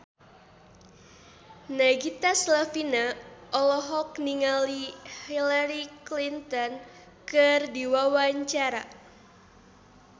Nagita Slavina olohok ningali Hillary Clinton keur diwawancara